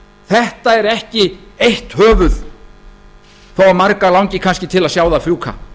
þetta er ekki eitt höfuð þó að marga langi kannski til að sjá það fjúka